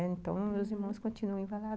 Então, uhum, meus irmãos continuam em Valadares.